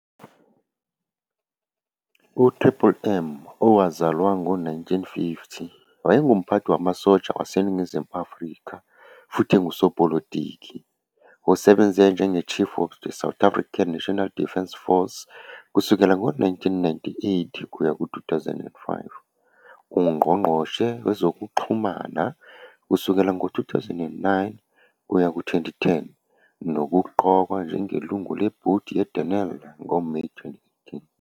UMMM, owazalwa ngo-1950, wayengumphathi wamasosha waseNingizimu Afrika futhi engusopolitiki. Usebenze njengeChief of the South African National Defence Force kusukela ngo-1998 kuya ku-2005, uNgqongqoshe Wezokuxhumana kusukela ngo-2009 kuya ku-2010 nokuqokwa njengelungu lebhodi leDenel ngoMeyi 2018.